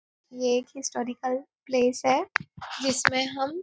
ये एक historical place है जिसमे हम --